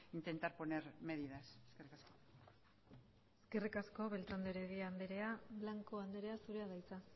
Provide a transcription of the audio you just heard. intentar poner medidas eskerrik asko eskerrik asko beltrán de heredia anderea blanco andrea zurea da hitza